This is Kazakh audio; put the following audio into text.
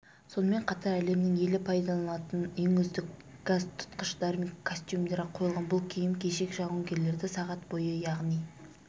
сонымен қатар әлемнің елі пайдаланатын ең үздік газтұтқыштар мен костюмдер қойылған бұлкиім-кешек жауынгерлерді сағат бойы яғни